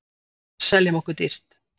Seljum okkur dýrt